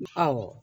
Awɔ